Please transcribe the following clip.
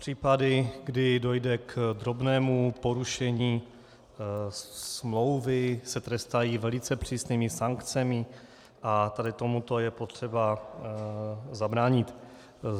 Případy, kdy dojde k drobnému porušení smlouvy, se trestají velice přísnými sankcemi a tady tomuto je potřeba zabránit.